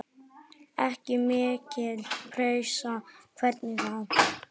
Ekki mikil pressa, hvernig þá?